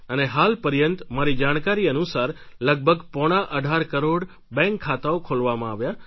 અને હાલ પર્યંત મારી જાણકારી અનુસાર લગભગ પોણા અઢાર કરોડ બેન્ક ખાતાઓ ખોલવામાં આવ્યા